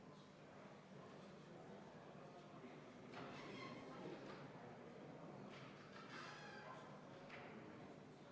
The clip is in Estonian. Edasi, kuni 3. detsembrini 2024 jääksid kehtima Eestis rakendamise erisused artiklite 10, 13 lõike 2, 15 ja 22 puhul nii riigisisestele kui ka Venemaa suunal toimuvatele rahvusvahelistele reisijatevedudele raudteel.